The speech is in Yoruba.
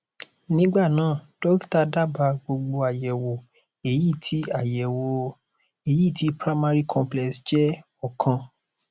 nígbà náà dọkítà dábàá gbogbo àyẹwò èyí tí àyẹwò èyí tí primary complex jẹ ọkan